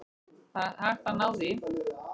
Það er hægt að ná því.